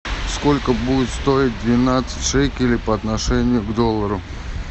сколько будет стоить двенадцать шекелей по отношению к доллару